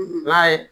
i b'a ye